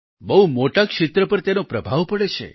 બહુ મોટા ક્ષેત્ર પર તેનો પ્રભાવ પડે છે